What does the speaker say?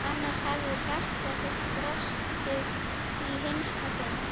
Annars hefði hjarta þitt brostið í hinsta sinn.